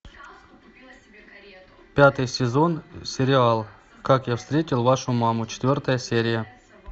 пятый сезон сериал как я встретил вашу маму четвертая серия